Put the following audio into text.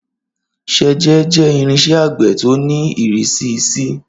Ṣẹjẹ jẹ irinṣẹ agbe ti o ni irisi C.